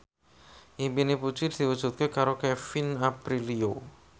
impine Puji diwujudke karo Kevin Aprilio